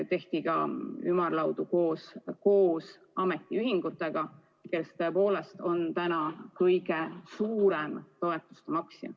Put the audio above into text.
Tehti ka ümarlaudu koos ametiühinguga, kes tõepoolest on täna kõige suurem toetuse maksja.